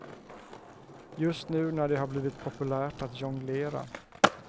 Just nu när det har blivit populärt att jonglera.